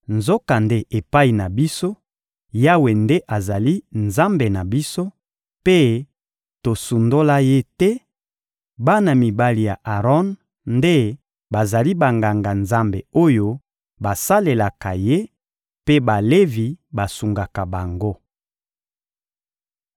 Nzokande epai na biso, Yawe nde azali Nzambe na biso, mpe tosundola Ye te; bana mibali ya Aron nde bazali Banganga-Nzambe oyo basalelaka Ye, mpe Balevi basungaka bango.